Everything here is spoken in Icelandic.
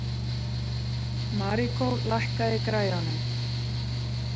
Maríkó, lækkaðu í græjunum.